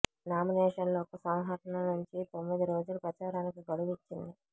నామినేషన్ల ఉపసంహరణ నుంచి తొమ్మిది రోజులు ప్రచారానికి గడువు ఇచ్చింది